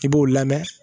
I b'o lamɛn